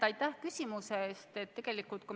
Aitäh küsimuse eest!